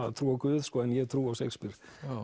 að trúa á Guð en ég trúi á Shakespeare